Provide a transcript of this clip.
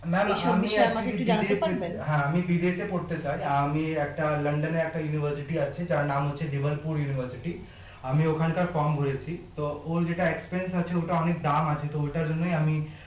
ma'am আমি actually BBA হ্যাঁ আমি BBA তে পড়তে চাই আমি একটা লন্ডনের একটা university আছে যার নাম হচ্ছে liverpool university আমি ওখানকার form ভোরেছি তো ওর যেটা express আছে ওটা অনেক দাম আছে তো ঐটার জন্যই আমি